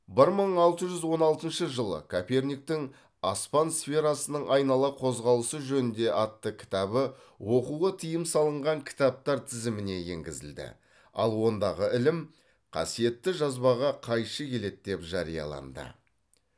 бір мың алты жүз он алтыншы жылы коперниктің аспан сферасының айнала қозғалысы жөнінде атты кітабы оқуға тыйым салынған кітаптар тізіміне енгізілді ал ондағы ілім қасиетті жазбаға қайшы келеді деп жарияланды